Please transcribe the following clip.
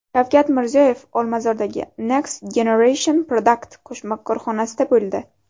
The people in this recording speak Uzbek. Shavkat Mirziyoyev Olmazordagi Next Generation Product qo‘shma korxonasida bo‘ldi.